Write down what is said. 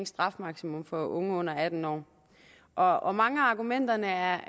strafmaksimum for unge under atten år og og mange af argumenterne er